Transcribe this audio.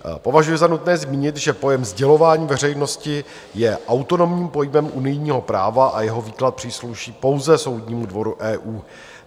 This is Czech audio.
Považuji za nutné zmínit, že pojem sdělování veřejnosti je autonomním pojmem unijního práva a jeho výklad přísluší pouze Soudnímu dvoru EU.